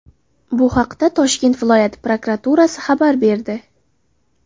Bu haqda Toshkent viloyati prokuraturasi xabar berdi .